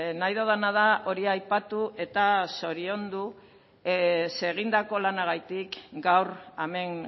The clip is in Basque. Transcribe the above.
nahi dudana da hori aipatu eta zoriondu zere egindako lanagatik gaur hemen